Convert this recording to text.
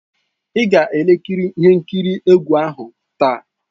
Ị ga-ekiri ihe nkiri egwu ahụ taa!